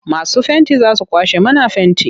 Masu fenti za su kwashe mana fenti.